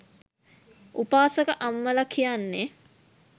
උපාසක අම්මල කියන්නේ